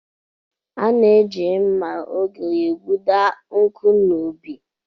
A na-eji mma oge egbuda nkụ n'ubi.